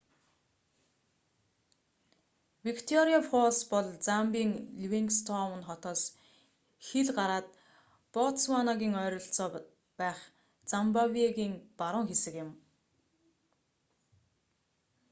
викториа фоллс бол замбийн ливингстоун хотоос хил гараад ботсванагийн ойролцоо байх зимбабегийн баруун хэсэг юм